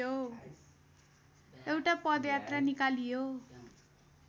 एउटा पदयात्रा निकालियो